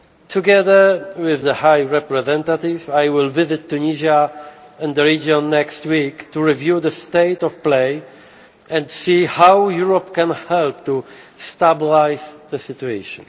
it. Together with the High Representative, I will visit Tunisia and the region next week to review the state of play and see how Europe can help to stabilise the situation.